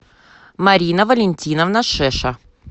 марина валентиновна шеша